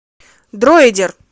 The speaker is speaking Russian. дроидер